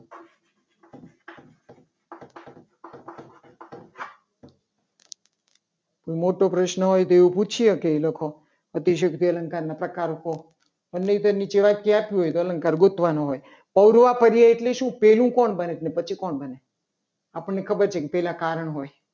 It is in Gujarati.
કોઈ મોટો પ્રશ્ન હોય તો એ પૂછી શકે. એ લોકો અતિશયોક્તિ અલંકાર નો પ્રકાર કહો. તો નીચે આપેલા હોય. તો અલંકાર ગોતવાનું હોય તો આવડું આ પર્યાય એટલે શું? પહેલું કોણ બને. અને પછી કોણ બને? આપણને ખબર છે કે પહેલા કારણ હોય